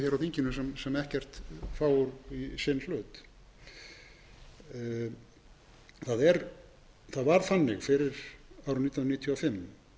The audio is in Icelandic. á þinginu sem ekkert fá í sinn hlut það var þannig fyrir árið nítján hundruð níutíu